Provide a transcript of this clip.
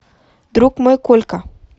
друг мой колька